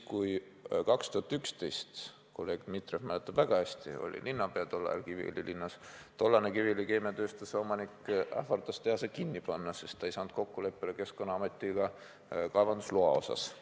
2011. aastal – kolleeg Dmitrijev mäletab seda väga hästi, ta oli tollal Kiviõli linnapea – ähvardas tollane Kiviõli Keemiatööstuse omanik tehase kinni panna, sest ta ei saanud Keskkonnaametiga kaevandusloa osas kokkuleppele.